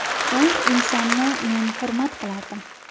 U insonni men hurmat qilardim.